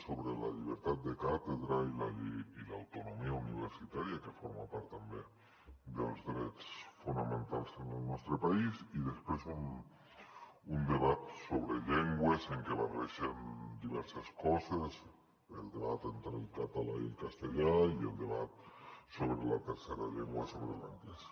sobre la llibertat de càtedra i la llei i l’autonomia universitària que forma part també dels drets fonamentals en el nostre país i després un debat sobre llengües en que barregen diverses coses el debat entre el català i el castellà i el debat sobre la tercera llengua sobre l’anglès